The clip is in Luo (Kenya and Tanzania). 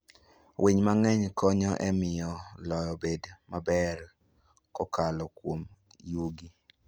Winy mang'eny konyo e miyo lowo obed maber kokalo kuom yugi.